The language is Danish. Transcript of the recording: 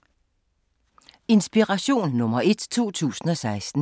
Inspiration nr. 1 2016